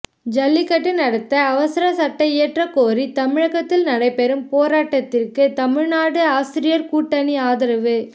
ஜல்லிக்கட்டு நடத்த அவசர சட்டம் இயற்றக் கோரி தமிழகத்தில் நடைபெறும் போராட்டத்திற்கு தமிழ்நாடு ஆசிரியர் கூட்டணி ஆதரவு